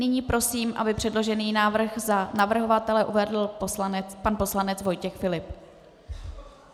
Nyní prosím, aby předložený návrh za navrhovatele uvedl pan poslanec Vojtěch Filip.